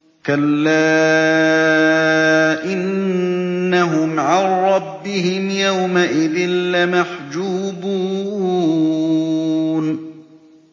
كَلَّا إِنَّهُمْ عَن رَّبِّهِمْ يَوْمَئِذٍ لَّمَحْجُوبُونَ